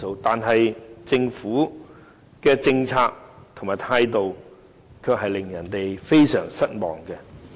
然而，政府的政策和態度卻令人非常失望。